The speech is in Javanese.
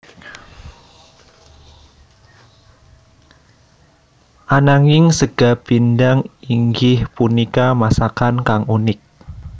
Ananging sega pindhang inggih punika masakan kang unik